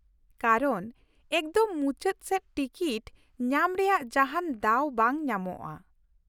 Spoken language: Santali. ᱠᱟᱨᱚᱱ, ᱮᱠᱫᱚᱢ ᱢᱩᱪᱟᱹᱫ ᱥᱮᱡ ᱴᱤᱠᱤᱴ ᱧᱟᱢ ᱨᱮᱭᱟᱜ ᱡᱟᱦᱟᱸᱱ ᱫᱟᱣ ᱵᱟᱝ ᱧᱟᱢᱚᱜᱼᱟ ᱾